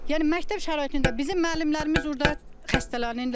Yəni məktəb şəraitində bizim müəllimlərimiz orda xəstələnirlər.